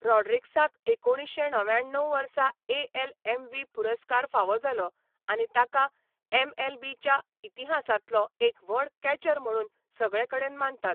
रॉड्रिगीसाक एकुणीशें णव्याण्णव वर्सा एएल एमव्हीपी पुरस्कार फावो जालो आनी ताका एमएलबीच्या इतिहासांतलो एक व्हड कॅचर म्हणून सगळेकडेन मानतात.